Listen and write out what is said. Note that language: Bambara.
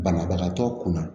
Banabagatɔ kunna